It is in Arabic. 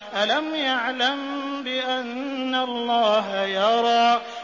أَلَمْ يَعْلَم بِأَنَّ اللَّهَ يَرَىٰ